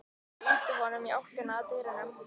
Ég ýti honum í áttina að dyrunum.